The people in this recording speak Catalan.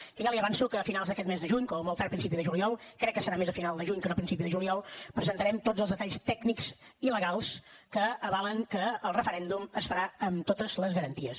jo ja li avanço que a finals d’aquest mes de juny com a molt tard a principi de juliol crec que serà més a final de juny que no a principi de juliol presentarem tots els detalls tècnics i legals que avalen que el referèndum es farà amb totes les garanties